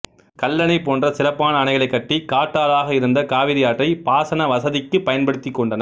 கல்லணை போன்ற சிறப்பான அணைகளை கட்டி காட்டாறாக இருந்த காவிரி ஆற்றை பாசன வசதிக்கு பயன்படுத்திக் கொண்டனர்